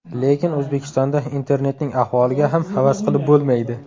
Lekin O‘zbekistonda internetning ahvoliga ham havas qilib bo‘lmaydi.